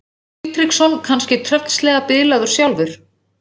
Sigtryggsson kannski tröllslega bilaður sjálfur?